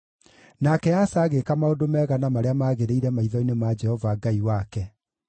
Nake Asa agĩĩka maũndũ mega, na marĩa maagĩrĩire maitho-inĩ ma Jehova Ngai wake.